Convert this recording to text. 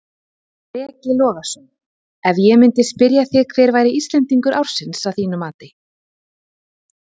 Breki Logason: Ef ég myndi spyrja þig hver væri Íslendingur ársins að þínu mati?